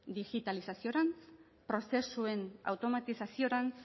digitalizaziorantz prozesuen automatizaziorantz